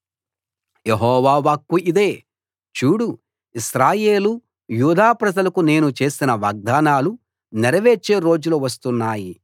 యెహోవా వాక్కు ఇదే చూడు ఇశ్రాయేలు యూదా ప్రజలకు నేను చేసిన వాగ్దానాలు నెరవేర్చే రోజులు వస్తున్నాయి